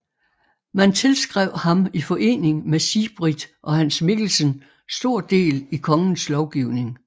Man tilskrev ham i forening med Sigbrit og Hans Mikkelsen stor del i kongens lovgivning